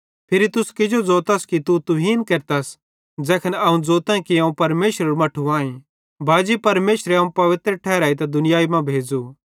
फिरी तुस किजो ज़ोतथ कि तू तुहीन केरतस ज़ैखन अवं ज़ोताईं कि अवं परमेशरेरू मट्ठू आईं बाजी परमेशरे अवं पवित्र ठहरेइतां दुनियाई मां भेज़ो